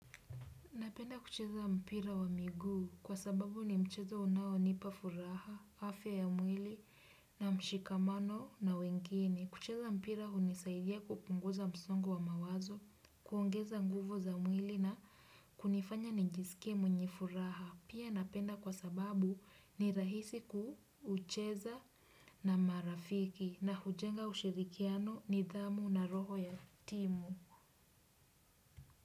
Napenda kucheza mpira wa miguu kwa sababu ni mchezo unao nipa furaha, afya ya mwili na mshikamano na wengini. Kucheza mpira hunisaidia kupunguza msongo wa mawazo, kuongeza nguvu za mwili na kunifanya nijisikie mwenye furaha. Pia napenda kwa sababu ni rahisi kuucheza na marafiki na hujenga ushirikiano ni dhamu na roho ya timu.